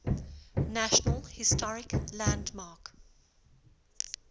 national historic landmark